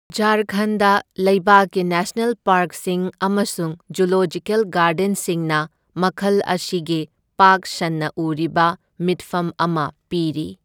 ꯓꯥꯔꯈꯟꯗ ꯂꯩꯕꯥꯛꯀꯤ ꯅꯦꯁꯅꯦꯜ ꯄꯥꯔꯛꯁꯤꯡ ꯑꯃꯁꯨꯡ ꯖꯨꯂꯣꯖꯤꯀꯦꯜ ꯒꯥꯔꯗꯦꯟꯁꯤꯡꯅ ꯃꯈꯜ ꯑꯁꯤꯒꯤ ꯄꯥꯛ ꯁꯟꯅ ꯎꯔꯤꯕ ꯃꯤꯠꯐꯝ ꯑꯃ ꯄꯤꯔꯤ꯫